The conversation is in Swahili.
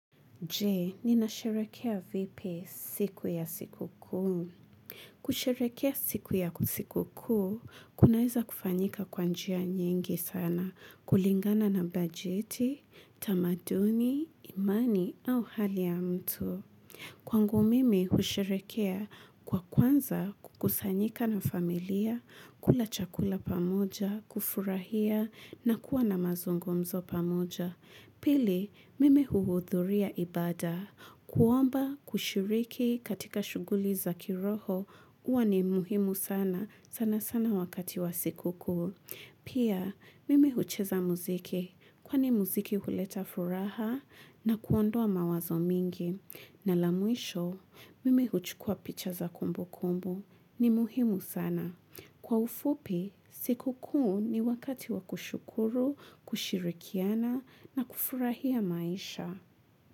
Je, nina sherehekea vipi siku ya siku kuu? Kusherehekea siku ya siku kuu, kunaweza kufanyika kwa njia nyingi sana, kulingana na bajeti, tamaduni, imani au hali ya mtu. Kwangu mimi husherehekea kwa kwanza kukusanyika na familia, kula chakula pamoja, kufurahia na kuwa na mazungumzo pamoja. Pili, mimi huhudhuria ibada. Kuomba kushiriki katika shuguli za kiroho huwa ni muhimu sana, sana sana wakati wa siku kuu. Pia, mimi hucheza muziki kwani mziki huleta furaha na kuondoa mawazo mingi. Na la mwisho, mimi huchukua picha za kumbu kumbu ni muhimu sana. Kwa ufupi, siku kuu ni wakati wa kushukuru, kushirikiana na kufurahia maisha.